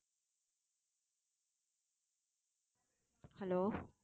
hello